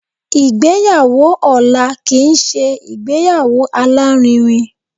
Ìgbéyàwó ọ̀la kìí ṣe ìgbéyàwó alárinrin.